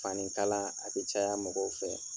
Fanikala a bi caya mɔgɔw fɛ